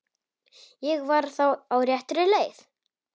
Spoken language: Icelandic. Ég var þá á réttri leið!